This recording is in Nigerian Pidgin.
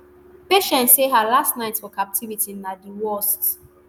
patience say her last night for captivity na di worst